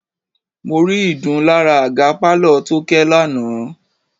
Mo rí ìdun lára àga pálọ̀ Tóké lánàá.